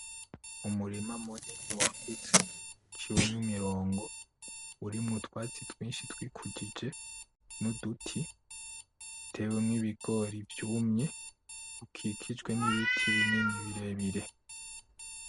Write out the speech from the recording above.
Umurima munini wagutse uciwemwo imirongo urimwo utwatsi twinshi twikujije nuduti, utewemwo ibigori vyumye ukikijwe nibiti binini birebire.